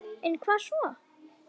En hvað svo??